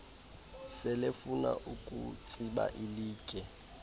selefuna ukutsiba ilitye